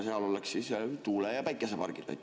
Seal oleks siis tuule‑ ja päikesepargid.